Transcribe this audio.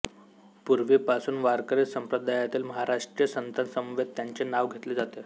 पूर्वीपासून वारकरी संप्रदायातील महाराष्ट्रीय संतांसमवेत त्यांचे नाव घेतले जाते